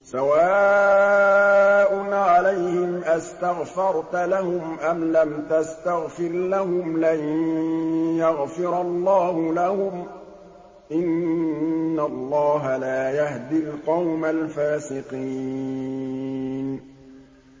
سَوَاءٌ عَلَيْهِمْ أَسْتَغْفَرْتَ لَهُمْ أَمْ لَمْ تَسْتَغْفِرْ لَهُمْ لَن يَغْفِرَ اللَّهُ لَهُمْ ۚ إِنَّ اللَّهَ لَا يَهْدِي الْقَوْمَ الْفَاسِقِينَ